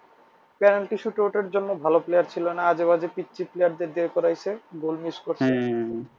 Penalty এর জন্য ভালো player ছিল না আজেবাজে পিচ্ছি player দিয়ে করাইছে goal miss করছে।